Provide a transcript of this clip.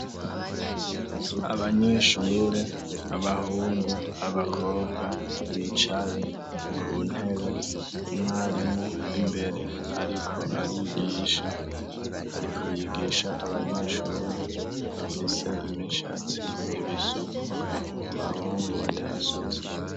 Abanyeshure abahungu abakobwa bicaye ku ntebe umwarimu imbere ariko yigisha abanyeshure bafise imishatsi ibisuku ubahungu batasutse.